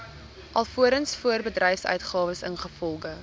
alvorens voorbedryfsuitgawes ingevolge